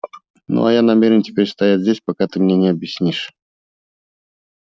ну а я намерен теперь стоять здесь пока ты мне не объяснишь